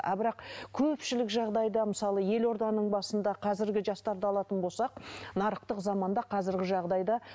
ал бірақ көпшілік жағдайда мысалы елорданың басында қазіргі жастарды алатын болсақ нарықтық заманда қазіргі жағдайда